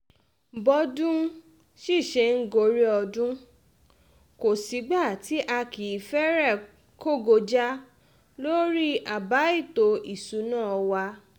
bọ́dún sì ṣe ń gorí ọdún kò sígbà tí a kì í fẹ́rẹ̀ kógo já lórí àbá ètò ìṣúná wa